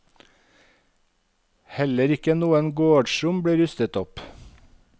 Heller ikke noen gårdsrom blir rustet opp.